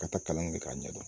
Ka taa kalan kɛ k'a ɲɛdɔn